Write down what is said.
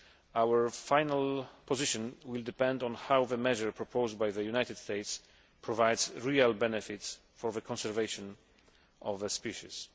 Our final position will depend on how the measure proposed by the United States provides real benefits for the conservation of a species.